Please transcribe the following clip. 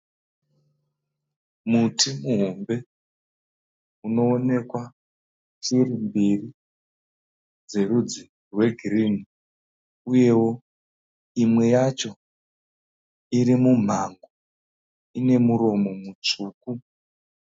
Muti muhombe unoonekwa shiri mbiri dzerudzi rwegirini uyewo imwe yacho iri mumhango, ine muromo mutsvuku.